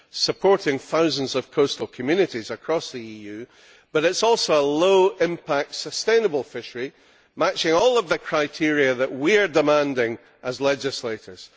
supporting thousands of coastal communities across the EU, but it is also a low impact sustainable fishery, matching all of the criteria that we are demanding as legislators.